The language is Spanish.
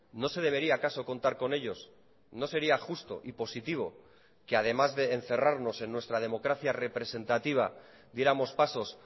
no se debería acaso contar con ellos no sería justo y positivo que además de encerrarnos en nuestra democracia representativa diéramos pasos